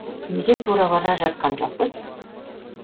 неге тура бара жатқан жоқпыз